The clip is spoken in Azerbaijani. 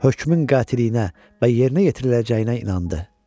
Hökmün qətiyyətinə və yerinə yetiriləcəyinə inandı.